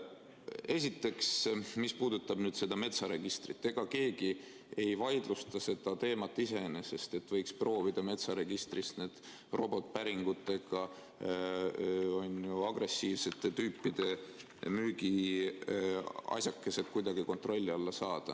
Esiteks, mis puudutab nüüd seda metsaregistrit, ega keegi ei vaidlusta iseenesest seda teemat, et võiks proovida metsaregistris need robotpäringutega agressiivsete tüüpide müügiasjakesed kuidagi kontrolli alla saada.